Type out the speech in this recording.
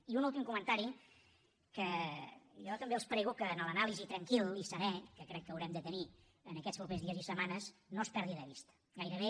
i un últim comentari que jo també els prego que en l’anàlisi tranquilnir en aquests propers dies i setmanes no es perdi de vista gairebé